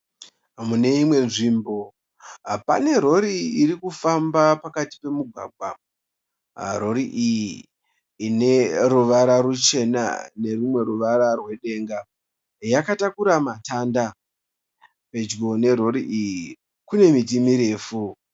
Mimwe nzvimbo, pane rori irikufamba pakati pamugwagwa. Rori iyi ineruvara ruchena nerwumwe ruvara rwedenga yakatakura matanda. Pedyo nerori iyi kune miti mirefu.